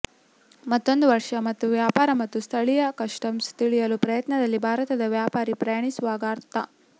ಮತ್ತೊಂದು ವರ್ಷ ಮತ್ತು ವ್ಯಾಪಾರ ಮತ್ತು ಸ್ಥಳೀಯ ಕಸ್ಟಮ್ಸ್ ತಿಳಿಯಲು ಪ್ರಯತ್ನದಲ್ಲಿ ಭಾರತದ ವ್ಯಾಪಾರಿ ಪ್ರಯಾಣಿಸುವಾಗ ಅರ್ಧ